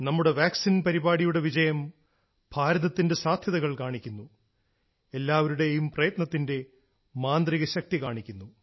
നമ്മുടെ വാക്സിൻ പരിപാടിയുടെ വിജയം ഭാരതത്തിന്റെ സാധ്യതകൾ കാണിക്കുന്നു എല്ലാവരുടെയും പ്രയത്നത്തിന്റെ മാന്ത്രികശക്തി കാണിക്കുന്നു